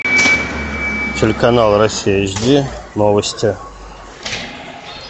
телеканал россия эйч ди новости